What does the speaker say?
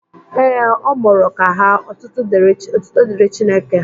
Ee, ọ mụrụ ka ha. Ọtụtụ dịri Chineke.